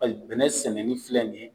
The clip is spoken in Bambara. Ayi bɛnɛ sɛnɛni filɛ nin ye